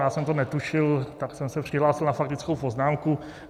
Já jsem to netušil, tak jsem se přihlásil na faktickou poznámku.